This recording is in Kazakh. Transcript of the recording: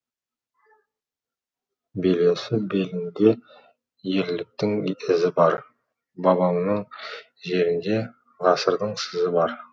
белесі белінде ерліктің ізі бар бабамның жерінде ғасырдың сызы бар